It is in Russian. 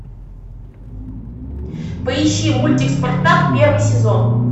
поищи мультик спартак первый сезон